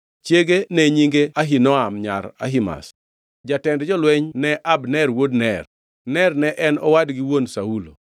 Chiege ne nyinge Ahinoam nyar Ahimaz. Jatend jolweny ne Abner wuod Ner, Ner ne en owadgi wuon Saulo.